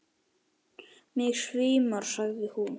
Mig svimar, sagði hún.